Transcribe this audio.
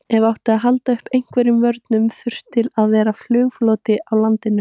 Ef átti að halda uppi einhverjum vörnum þurfti að vera flugfloti í landinu.